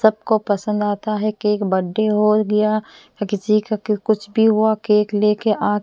सबको पसंद आता है केक बर्थडे हो गया किसी का कुछ भी हुआ केक लेके आ--